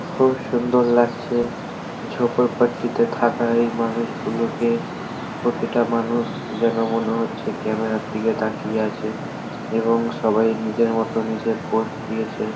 খুব সুন্দর লাগছে। ঝোপর পট্টিতে থাকা এই মানুষগুলোকে প্রতিটা মানুষ যেন মনে হচ্ছে ক্যামেরা -এর দিকে তাকিয়ে আছে এবং সবাই নিজের মতো নিজের পোস্ট দিয়েছে।